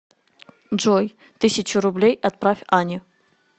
джой тысячу рублей отправь ане